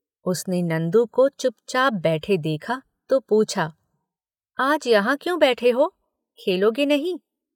उसने नंदू को चुपचाप बैठे देखा तो पूछा—"आज यहां क्यों बैठे हो? खेलोगे नहीं